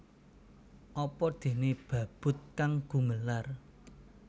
Apa déné babut kang gumelar